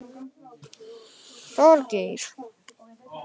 Þorgeir